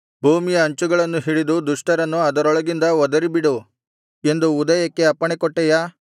ಭೂಮಿಯ ಅಂಚುಗಳನ್ನು ಹಿಡಿದು ದುಷ್ಟರನ್ನು ಅದರೊಳಗಿಂದ ಒದರಿಬಿಡು ಎಂದು ಉದಯಕ್ಕೆ ಅಪ್ಪಣೆಕೊಟ್ಟೆಯಾ